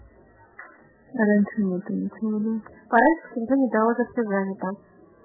давай созвонимся